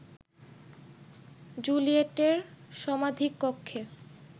জুলিয়েটের সমাধিকক্ষে